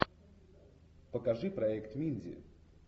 покажи проект минди